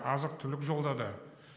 азық түлік жолдады